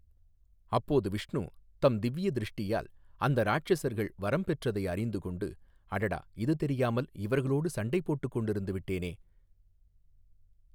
அப்போது விஷ்ணு தம் திவ்விய திருஷ்டியால் அந்த ராட்சஸர்கள் வரம் பெற்றதை அறிந்து கொண்டு அடடா இது தெரியாமல் இவர்களோடு சண்டை போட்டுக் கொண்டு இருந்து விட்டேனே.